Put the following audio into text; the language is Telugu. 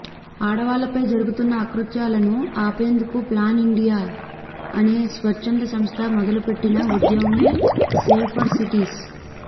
ఆడవాళ్ళపై జరుగుతున్న అకృత్యాలను ఆపేందుకు ప్లాన్ ఇండియా అనే స్వచ్ఛంద సంస్థ మొదలుపెట్టిన ఉద్యమమే సేఫర్ సిటీస్